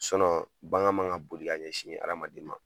bagan man ka boli k'a ɲɛsin hadamaden ma.